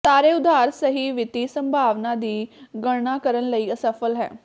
ਸਾਰੇ ਉਧਾਰ ਸਹੀ ਵਿੱਤੀ ਸੰਭਾਵਨਾ ਦੀ ਗਣਨਾ ਕਰਨ ਲਈ ਅਸਫ਼ਲ ਹੈ